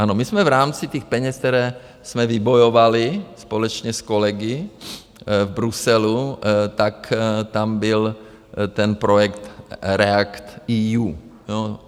Ano, my jsme v rámci těch peněz, které jsme vybojovali společně s kolegy v Bruselu, tak tam byl ten projekt REACT-EU.